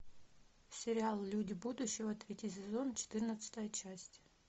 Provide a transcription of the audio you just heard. сериал люди будущего третий сезон четырнадцатая часть